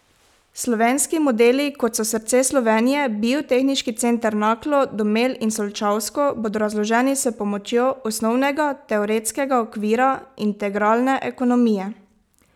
Slovenski modeli, kot so Srce Slovenije, Biotehniški center Naklo, Domel in Solčavsko, bodo razloženi s pomočjo osnovnega teoretskega okvira integralne ekonomije.